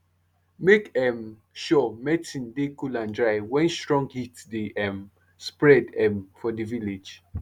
make um sure medicin dey cool and dry wen strong heat dey um spread um for di village